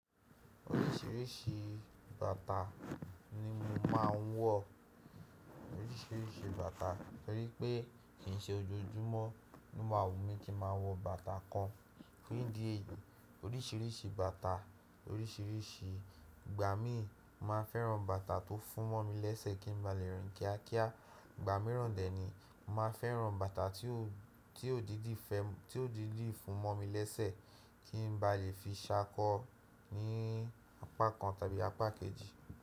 Oríṣìíríṣìí bàtà ni mo máa ń wọ̀. Oríṣìíríṣìí bàtà torí pé kì í ṣe ojoojúmọ́ ní o ma wù mí kí n máa wọ bàtà kan. Tori idi èyií, oríṣìíríṣìí bàtà, oríṣìíríṣìí ìgbà mi, mo maa n fẹ́ran bàtà tó fún mọ́ mi lésẹ̀ kí n ba le rìn kíákíá. Ìgbà míràn dè ni, mo màá n fẹ́ran bàtà tí ó dídi fún mọ́ mi lésẹ̀ kí n ba lè fi ṣákọ̀ ní apá kan tàbí apá kejì.